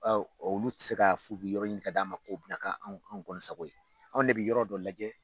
olu tɛ se ka f'u bi yɔrɔ ɲini ka d'a ma k'o bi na kɛ anw anw kɔni sago ye anw de bɛ yɔrɔ dɔ lajɛ.